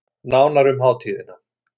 Nánar um hátíðina